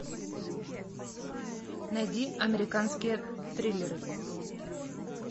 найди американские триллеры